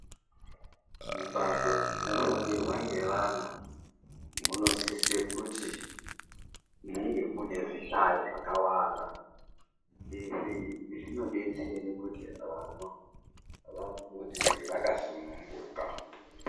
Mumbatso dzinofundirwa ngeana munosisa kuti munge mune zvihlayo zvakawanda izvi zvinodetsera kuti vana vafunde vakasununguka.